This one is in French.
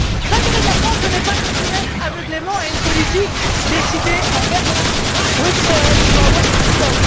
L'intérêt de la France n'est pas de se soumettre aveuglément à une politique décidée à Berlin, à Bruxelles ou à Washington.